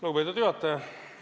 Lugupeetud juhataja!